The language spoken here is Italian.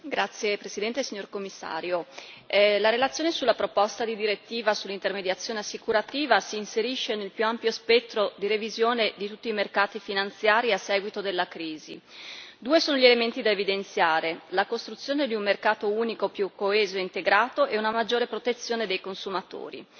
Signor Presidente, onorevoli colleghi, signor Commissario, la relazione sulla proposta di direttiva sull'intermediazione assicurativa si inserisce nel più ampio spettro di revisione di tutti i mercati finanziari a seguito della crisi. Due sono gli elementi da evidenziare la costruzione di un mercato unico più coeso e integrato e una maggiore protezione dei consumatori.